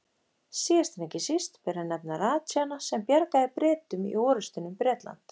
Síðast en ekki síst ber að nefna ratsjána sem bjargaði Bretum í orrustunni um Bretland.